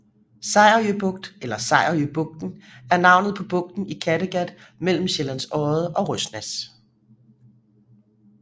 Sejerø Bugt eller Sejerøbugten er navnet på bugten i Kattegat mellem Sjællands Odde og Røsnæs